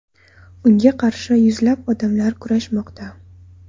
Unga qarshi yuzlab odamlar kurashmoqda.